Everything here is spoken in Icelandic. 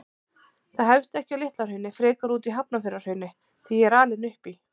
Það hefst ekki á Litla-Hrauni, frekar úti í Hafnarfjarðarhrauni, því ég er alinn upp í